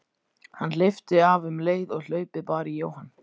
Hann hleypti af um leið og hlaupið bar í Jóhann.